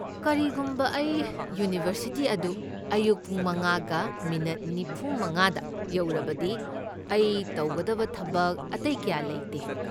ꯀꯔꯤꯒꯨꯝꯕ ꯑꯩ ꯌꯨꯅꯤꯚꯔꯁꯤꯇꯤ ꯑꯗꯨ ꯑꯌꯨꯛ ꯄꯨꯡ ꯃꯉꯥꯒ ꯃꯤꯅꯠ ꯅꯤꯐꯨꯃꯉꯥꯥꯗ ꯌꯧꯔꯕꯗꯤ ꯑꯩ ꯇꯧꯒꯗꯕ ꯊꯕꯛ ꯑꯇꯩ ꯀꯌꯥ ꯂꯩꯇꯦ꯫